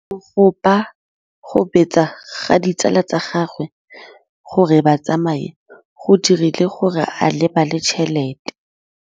Go gobagobetsa ga ditsala tsa gagwe, gore ba tsamaye go dirile gore a lebale tšhelete.